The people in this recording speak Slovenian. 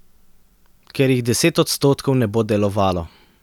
Ker jih deset odstotkov ne bo delovalo.